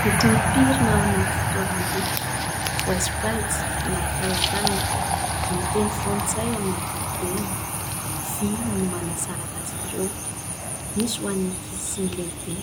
Boky mipirina anaty fitoeram-boky. Voasakajy anaty talantalana. Amin'ny teny frantsay amin'ny ankapobeny. Vỳ no manasaraka azy ireo. Misy ho an'ny ankizy sy ny lehibe.